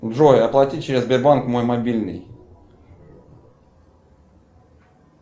джой оплатить через сбербанк мой мобильный